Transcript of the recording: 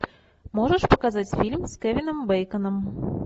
можешь показать фильм с кевином бэйконом